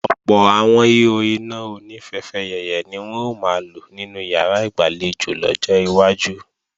Ọ̀pọ̀ àwọn ihò iná oní fẹfẹyẹ̀yẹ̀ ni wọn ó máa lò nínú ìyàrá ìgbàlejò lọ́jọ́ iwájú